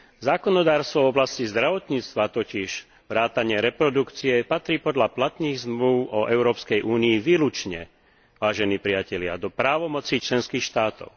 Zákonodarstvo v oblasti zdravotníctva totiž vrátane reprodukcie patrí podľa platných zmlúv o Európskej únii výlučne, vážení priatelia, do právomoci členských štátov.